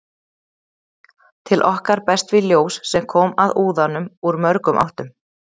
Til okkar berst því ljós sem kom að úðanum úr mörgum áttum.